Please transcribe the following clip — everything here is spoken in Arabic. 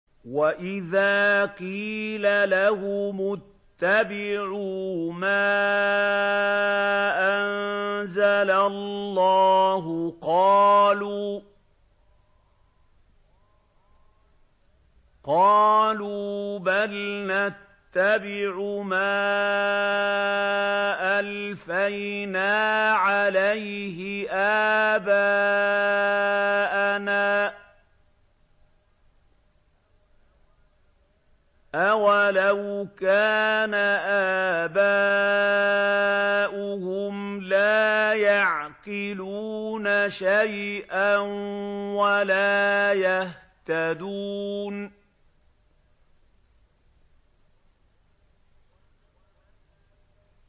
وَإِذَا قِيلَ لَهُمُ اتَّبِعُوا مَا أَنزَلَ اللَّهُ قَالُوا بَلْ نَتَّبِعُ مَا أَلْفَيْنَا عَلَيْهِ آبَاءَنَا ۗ أَوَلَوْ كَانَ آبَاؤُهُمْ لَا يَعْقِلُونَ شَيْئًا وَلَا يَهْتَدُونَ